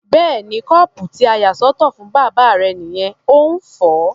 Bẹ́ẹ̀ni, kọ́ọ̀pù tí a yà sọ́tọ̀ fún bàbá rẹ nìyẹn, ó ń fọ̀ ọ́.